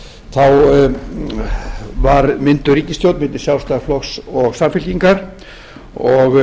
í lyndi var mynduð ríkisstjórn milli sjálfstæðisflokks og samfylkingar og